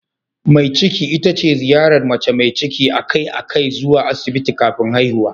Mai ciki ita ce ziyarar mace mai ciki a kai a kai zuwa Asibiti kafin haihuwa.